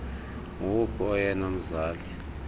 ngowuphi oyena mzali